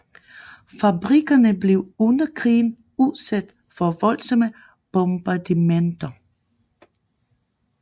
Fabrikkerne blev under krigen udsat for voldsomme bombardementer